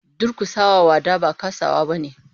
Durkusa wa wada ba kasawa bane.